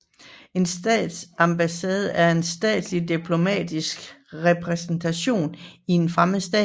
En ambassade er en stats diplomatiske repræsentation i en fremmed stat